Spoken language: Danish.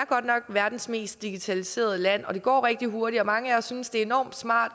godt nok verdens mest digitaliserede land og det går rigtig hurtigt og mange af os synes det er enormt smart